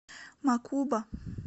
мокуба